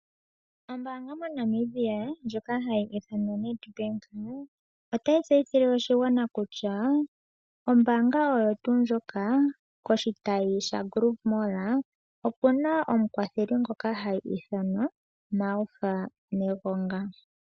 Ombanga moNamibia ndjoka hayi ithanwa oNedbank otayi tseyithile oshigwana kutya ombanga oyotu ndjoka koshitayi shaGrove mall opuna omukwatheli ngoka ha ithanwa Martha Negonga.